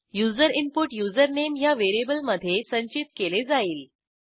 user input username ह्या variable मधे संचित केले जाईल